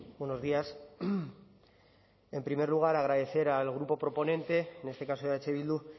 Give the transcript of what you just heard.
buenos días en primer lugar agradecer al grupo proponente en este caso eh bildu